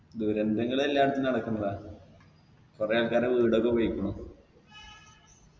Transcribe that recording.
ദുരന്തങ്ങൾ എല്ലാടത്തും നടക്കുന്നതാ കൊറേ ആൾക്കാരെ വീടൊക്കെ പോയിക്കണു